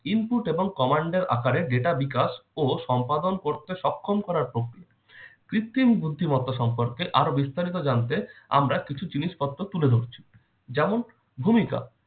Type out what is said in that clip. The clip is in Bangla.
input এবং command এর আকারে data বিকাশ ও সম্পাদন করতে সক্ষম করার প্রক্রিয়া। কৃত্রিম বুদ্ধিমতা সম্পর্কে আরও বিস্তারিত জানতে আমরা কিছু জিনিসপত্র তুলে ধরছি, যেমন- ভূমিকা